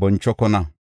bonchokona.